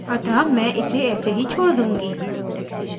अतः मैं इसे ऐसा ही छोड़ दूँगी